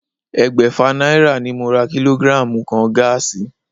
Ẹgbẹ́fà náírà ni mo ra kílógírààmù kan gáàsì